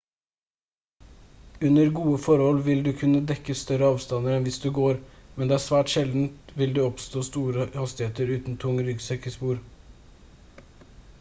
under gode forhold vil du kunne dekke større avstander enn hvis du går men det er svært sjeldent vil du oppnå store hastigheter uten tung ryggsekk i spor